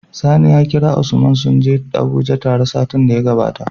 Sani ya kira usman sunje abuje tare satin da ya gabata